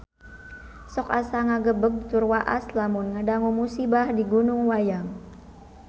Sok asa ngagebeg tur waas lamun ngadangu musibah di Gunung Wayang